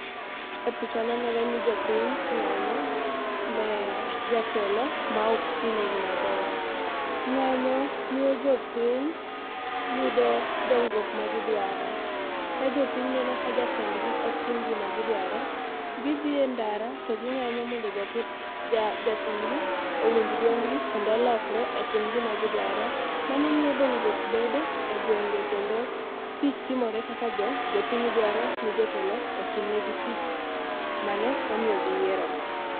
E pichani nenore ni jopiny ng'anyo ne jatelo ma ok tinegi maber. Ng'anyo miyo jopiny yudo dongruok magidwaro. Ka jopiny neno ka jatendgi ok tim gima gidwaro, gidhi e ndara to ging'anyo mondo jatendgi owinj dwondgi kendo olokre otim gima gidwaro. Mano miyo dongruok bedo e gwenge kendo tich timore kaka jopiny dwaro ni jotelo otimnegi tich mane omiyo giyierogi.